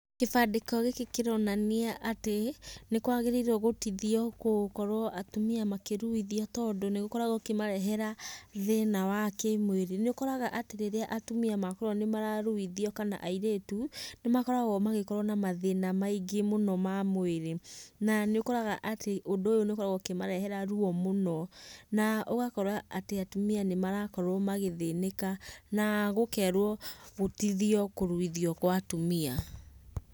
Kĩbandĩko gĩkĩ kĩronania atĩ nĩkwagĩrĩirwo gũtithio gũkorwo atumia makĩruithio tondũ nĩgũkoragwo gũkĩmarehera thĩna wa kĩmwĩrĩ. Nĩũkoraga atĩ rĩrĩa atumia makorwo nĩmararuithio kana airĩtu, nĩmakoragwo magĩkorwo na mathĩna maingĩ mũno ma mwĩrĩ. Na nĩ ũkoraga atĩ ũndũ ũyũ nĩũkoragwo ũkĩmarehera ruo mũno na ũgakora atĩ atumia nĩmarakorwo magĩthĩnĩka na gũkerwo gũtithio kũruithio kwa atumia.